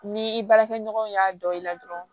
Ni i baarakɛɲɔgɔnw y'a dɔn i la dɔrɔn